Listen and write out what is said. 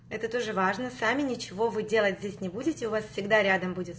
это тоже важно сами ничего вы здесь не будет у вас всегда рядом будет